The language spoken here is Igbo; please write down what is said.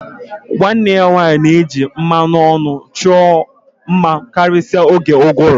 Nwanne ya nwanyị na-eji mmanụ ọnụ chọọ mma karịsịa n'oge ụgụrụ